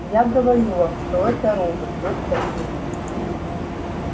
я говорю вам что это робот доктор лэннинг